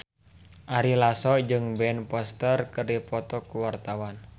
Ari Lasso jeung Ben Foster keur dipoto ku wartawan